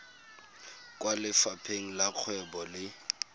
kwa lefapheng la dikgwebo le